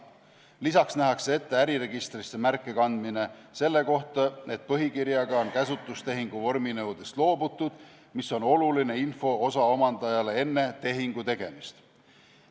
Lisaks nähakse ette äriregistrisse märke kandmine selle kohta, et põhikirjaga on käsutustehingu vorminõudest loobutud, mis on oluline info osa omandajale enne tehingu tegemist.